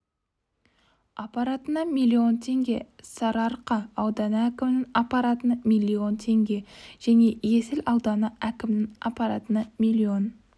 аппаратына миллион теңге сарыарқа ауданы әкімінің аппаратына миллион теңге және есіл ауданы әкімінің аппаратына миллион